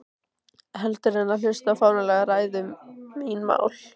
Heldur en hlusta á fáránlegar ræður um mín mál.